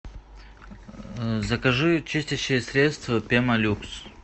закажи чистящее средство пемолюкс